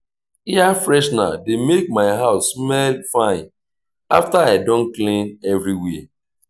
air freshener dey make my house smell fine after i don clean everywhere.